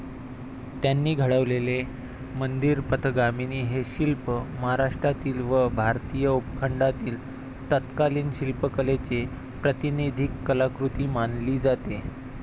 त्यांनी घडवलेले मंदिरपथगामिनी हे शिल्प महाराष्ट्रातील व भारतीय उपखंडातील तत्कालीन शिल्पकलेची प्रातिनिधिक कलाकृती मानली जाते.